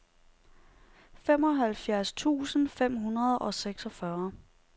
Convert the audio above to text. femoghalvfjerds tusind fem hundrede og seksogfyrre